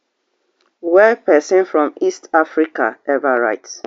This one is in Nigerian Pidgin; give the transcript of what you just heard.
wey person from east africa ever write